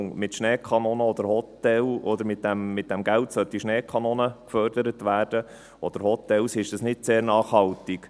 Denn wenn dann mit diesem Geld plötzlich Schneekanonen oder Hotels gefördert werden sollen, wäre das nicht sehr nachhaltig.